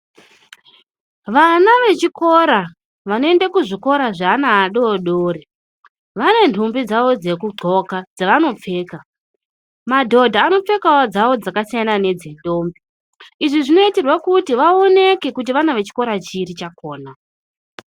Vana vechikora, vanoende kuzvikora zveana adori dori, vane nhumbi dzavo dzekudxoka dzavanopfeka. Madhodha anopfekawo dzawo dzakasiyana nedzendombi. Izvi zvinoitirwa kuti vaoneke kuti vana vechikora chiri chakona.